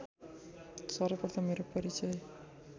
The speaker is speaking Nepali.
सर्वप्रथम मेरो परिचय